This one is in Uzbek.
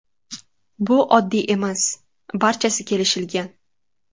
Bu oddiy emas, barchasi kelishilgan.